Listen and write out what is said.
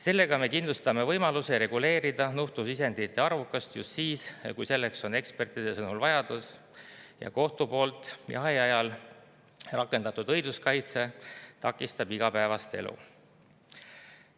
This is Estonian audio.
Sellega me kindlustame võimaluse reguleerida nuhtlusisendite arvukust just siis, kui selleks on ekspertide sõnul vajadus ja kohtu poolt jahiajal rakendatud õiguskaitse takistab igapäevast elu.